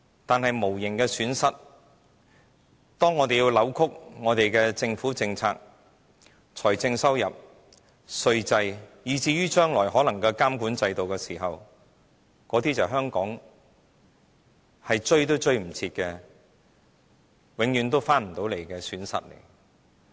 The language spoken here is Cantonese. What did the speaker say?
但說到無形的損失，如果我們要扭曲我們的政府政策、財政收入、稅制，以至將來可能的監管制度，那些便是香港想追也追不回來，永遠也不能再追回來的損失。